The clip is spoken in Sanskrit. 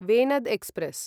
वेनद् एक्स्प्रेस्